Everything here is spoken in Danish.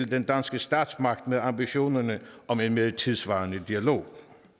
den danske statsmagt med ambitionerne om en mere tidssvarende dialog